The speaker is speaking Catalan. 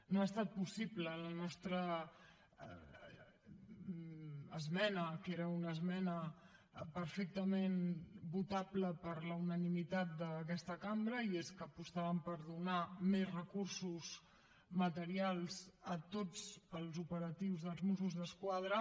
no ha estat possible la nostra esmena que era una esmena perfectament votable per la unanimitat d’aquesta cambra i és que apostàvem per donar més recursos materials a tots els operatius dels mossos d’esquadra